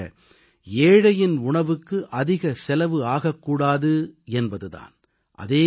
காரணமாக ஏழையின் உணவுக்கு அதிக செலவு ஆகக் கூடாது என்பது தான்